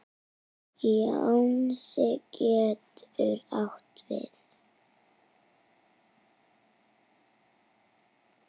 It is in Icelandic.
Jónsi getur átt við